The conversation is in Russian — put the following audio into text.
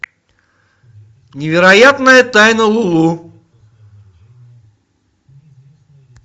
невероятная тайна лулу